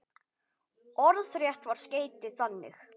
Orðrétt var skeytið þannig